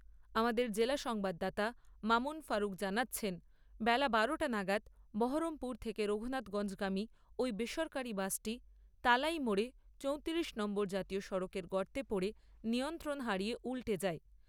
আমাদের জেলা সংবাদদাতা মামুন ফারুখ জানাচ্ছেন, বেলা বারো টা নাগাদ বহরমপুর থেকে রঘুনাথগঞ্জগামী ওই বেসরকারী বাসটি তালাইমোড়ে চৌতিরিশ নম্বর জাতীয় সড়কের গর্তে পড়ে নিয়ন্ত্রণ হারিয়ে উল্টে যায়।